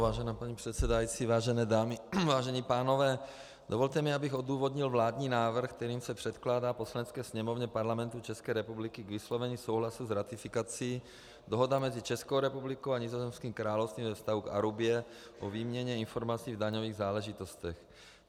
Vážená paní předsedající, vážené dámy, vážení pánové, dovolte mi, abych odůvodnil vládní návrh, kterým se předkládá Poslanecké sněmovně Parlamentu České republiky k vyslovení souhlasu k ratifikaci Dohoda mezi Českou republikou a Nizozemským královstvím ve vztahu k Arubě o výměně informací v daňových záležitostech.